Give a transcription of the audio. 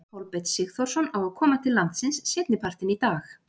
Kolbeinn Sigþórsson á að koma til landsins seinni partinn í dag.